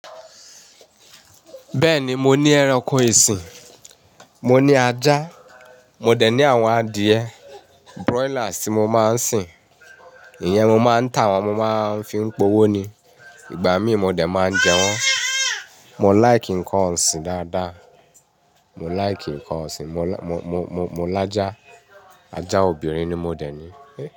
Bẹ́ẹ̀ni, mo ní ẹranko ìsìn. Mo ní ajá, mo dẹ̀ ní àwọn adìẹ, broiler tí mo máa ń sìn. Ìyẹn mo máa ń tà wọ́n, mo máa ń fi ń po owó ni. Ìgbà mí mo dẹ̀ máa ń jẹ wọ́n. Mo like nǹkan ọ̀sìn dáadáa. Mo like nǹkan ọ̀sìn, mo, mo, mo lajá. Ajá obìnrin ni mo dẹ̀ ní.